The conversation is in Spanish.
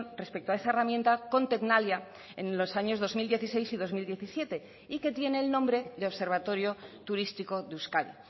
respecto a esa herramienta con tecnalia en los años dos mil dieciséis y dos mil diecisiete y que tiene el nombre de observatorio turístico de euskadi